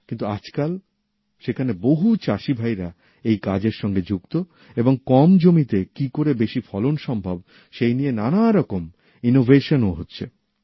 কিন্তু আজকাল সেখানে বহু চাষীভাই এই কাজের সাথে যুক্ত এবং কম জমিতে কি করে বেশি ফলন সম্ভব হয় সেই নিয়ে নানা রকম উদ্ভাবনও হচ্ছে